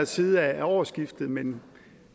side af årsskiftet men